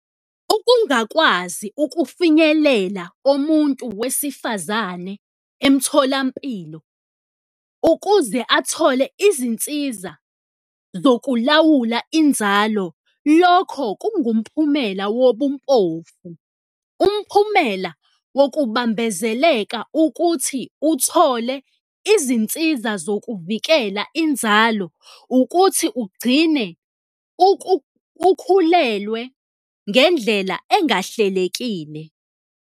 Ukungakwazi ukufinyelela komuntu wesifazane emtholampilo ukuze athole izinsiza zokulawula inzalo, lokho kungumphumela wobumpofu. Umphumela wokubambezeleka ukuthi uthole izinsiza zokuvikela inzalo ukuthi ugcine ukhulelwe ngendlela engahlelekile.